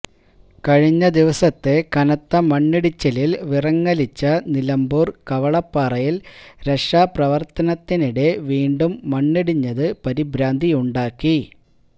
കഴിഞ്ഞ ദിവസത്തെ കനത്ത മണ്ണിടിച്ചിലില് വിറങ്ങലിച്ച നിലമ്പൂര് കവളപ്പാറയില് രക്ഷാപ്രവര്ത്തനത്തിനിടെ വീണ്ടും മണ്ണിടിഞ്ഞത് പരിഭ്രാന്തിയുണ്ടാക്കി